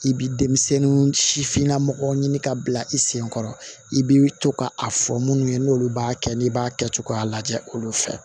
I bi denmisɛnnin sifinna mɔgɔ ɲini ka bila i sen kɔrɔ i bi to ka a fɔ munnu ye n'olu b'a kɛ n'i b'a kɛ cogoya lajɛ olu fɛ